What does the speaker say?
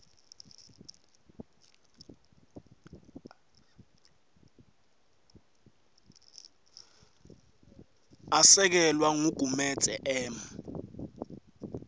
asekelwa ngugumedze m